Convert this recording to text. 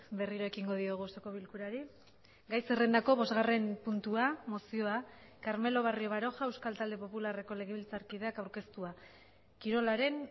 berriro ekingo diogu osoko bilkurari gai zerrendako bosgarren puntua mozioa carmelo barrio baroja euskal talde popularreko legebiltzarkideak aurkeztua kirolaren